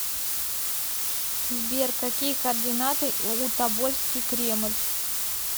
сбер какие координаты у тобольский кремль